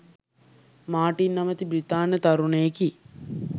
Martin නමැති බ්‍රිතාන්‍ය තරුණයෙකි.